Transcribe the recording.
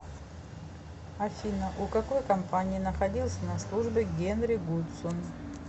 афина у какой компании находился на службе генри гудзон